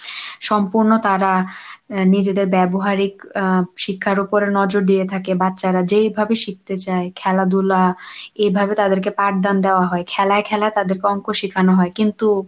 সম্পূর্ণ তাঁরা নিজেদের ব্যবহারিক আহ শিক্ষার উপরে নজর দিয়ে থাকে বাচ্চারা যেইভাবে শিখতে চায় খেলাধুলা এভাবে তাদেরকে পাঠদান দেওয়া হয় খেলায় খেলায় তাদেরকে অংক শেখানো হয়, কিন্তু